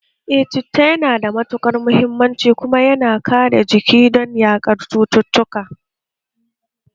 Eh citta yana da matukar muhimmanci kuma yana kare jiki don yaƙar cututtuka